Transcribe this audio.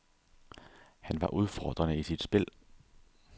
Han var udfordrende i sit spil.